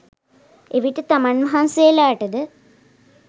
එවිට තමන් වහන්සේලාට ද